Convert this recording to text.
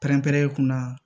Pɛrɛnpɛrɛn kunna